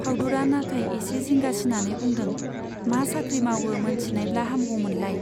फाउदुरा नाथाय एसे जिंगासिनानै बुंदों , मा साख्रि मावो मोनथिनायब्ला हामगौमोनलाय।